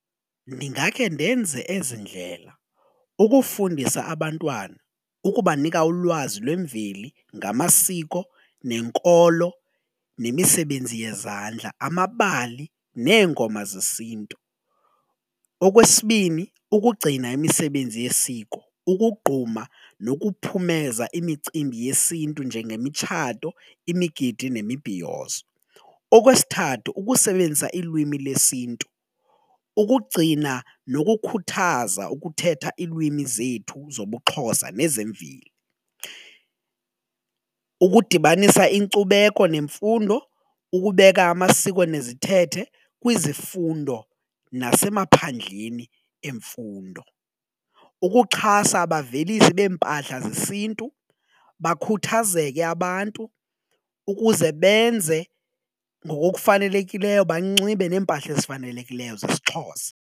Ndingakhe ndenze ezi ndlela ukufundisa abantwana ukubanika ulwazi lwemveli ngamasiko nenkolo nemisebenzi yezandla, amabali neengoma zesiNtu. Okwesibini, ukugcina imisebenzi yesiko, ukugquma nokuphumeza imicimbi yesiNtu njengemitshato, imigidi nemibhiyozo. Okwesithathu, ukusebenzisa ilwimi lesiNtu ukugcina nokukhuthaza ukuthetha iilwimi zethu zobuXhosa nezemveli. Ukudibanisa inkcubeko nemfundo, ukubeka amasiko nezithethe kwizifundo nasemaphandleni emfundo. Ukuxhasa abavelisi beempahla zesiNtu bakhuthazeke abantu ukuze benze ngokokufanelekileyo banxibe neempahla ezifanelekileyo zesiXhosa.